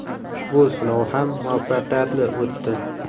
Ushbu sinov ham muvaffaqiyatli o‘tdi.